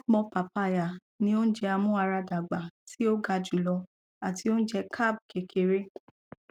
have more papaya ni ounjẹ amuaradagba ti o ga julọ ati ounjẹ carb kekere